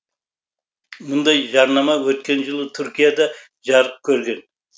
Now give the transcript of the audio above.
мұндай жарнама өткен жылы түркияда жарық көрген